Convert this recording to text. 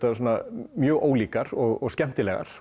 mjög ólíkar og skemmtilegar